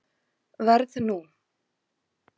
Verð nú.